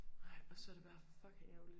Nej og så det bare fucking ærgerligt